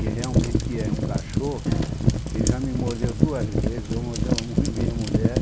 E realmente é um cachorro que ele já me mordeu duas vezes, já mordeu a minha mulher.